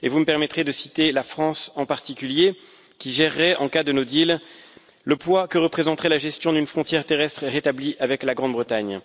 Vous me permettrez de citer la France, en particulier, qui gérerait en cas de no deal le poids que représenterait la gestion d'une frontière terrestre rétablie avec la Grande Bretagne.